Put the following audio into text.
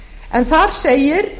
en þar segir